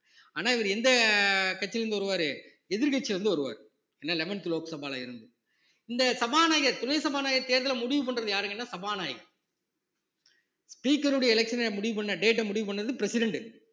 ஆனா இவரு எந்த கட்சியில இருந்து வருவாரு எதிர்க்கட்சியில இருந்து வருவாரு ஏன்னா eleventh லோக் சபால இருந்து இந்த சபாநாயகர் துணை சபாநாயகர் தேர்தலை முடிவு பண்றது யாருங்கன்னா சபாநாயகர் speaker உடைய election அ முடிவு பண்ண date அ முடிவு பண்ணது president